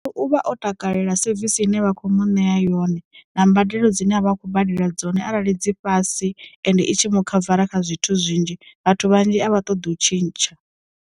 U vha o takalela sevisi ine vha kho mu ṋea yone na mbadelo dzine a vha a khou badela dzone arali dzi fhasi ende i tshi mu khavara kha zwithu zwinzhi vhathu vhanzhi a vha ṱoḓi u tshintsha.